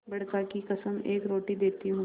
बड़का की कसम एक रोटी देती हूँ